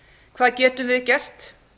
hvað getum við gert